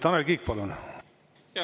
Tanel Kiik, palun!